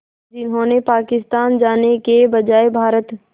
जिन्होंने पाकिस्तान जाने के बजाय भारत